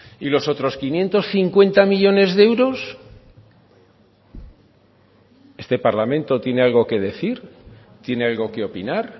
y los otros quinientos cincuenta millónes de euros este parlamento tiene algo que decir tiene algo que opinar